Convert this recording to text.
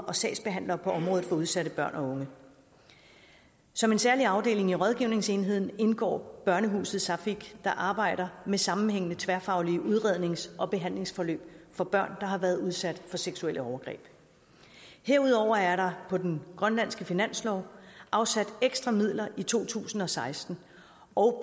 og sagsbehandlere på området for udsatte børn og unge som en særlig afdeling i rådgivningsenheden indgår børnehuset saaffik der arbejder med sammenhængende tværfaglige udrednings og behandlingsforløb for børn der har været udsat for seksuelle overgreb herudover er der på den grønlandske finanslov afsat ekstra midler i to tusind og seksten og